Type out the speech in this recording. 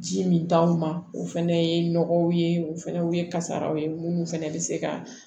Ji min t'anw ma o fɛnɛ ye nɔgɔw ye o fɛnɛ ye kasaraw ye minnu fɛnɛ bɛ se ka